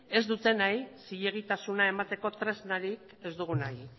ez dutenei zilegitasuna emateko tresnarik ez dugu nahi